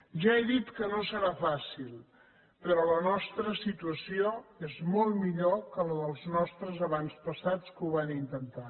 ja he dit que no serà fàcil però la nostra situació és molt millor que la dels nostres avantpassats que ho van intentar